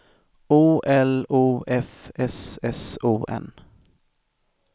O L O F S S O N